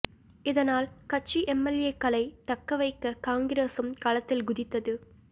இதனால் கட்சி எம்எல்ஏக்களை தக்க வைக்க காங்கிரஸும் களத்தில் குதித்தது